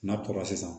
N'a kɔrɔ sisan